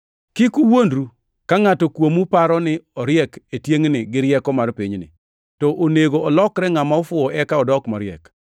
Kik uwuondru. Ka ngʼato kuomu paro ni oriek e tiengʼni gi rieko mar pinyni, to onego olokre ngʼama ofuwo eka odok mariek.